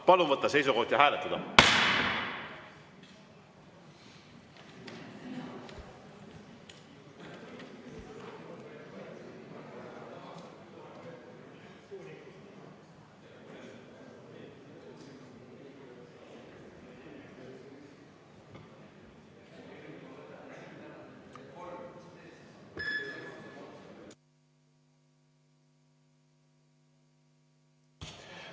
Palun võtta seisukoht ja hääletada!